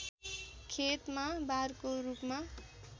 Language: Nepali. खेतमा बारको रूपमा